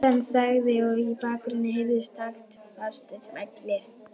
Hann þagði og í bakgrunni heyrðust taktfastir smellir.